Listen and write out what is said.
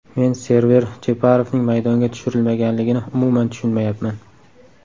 Men Server Jeparovning maydonga tushirilmaganligini umuman tushunmayapman.